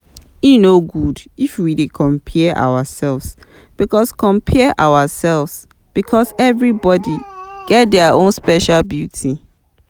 E no good if we dey compare ourselves because compare ourselves because everybodi get their own special beauty.